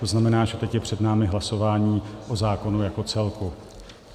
To znamená, že teď je před námi hlasování o zákonu jako celku.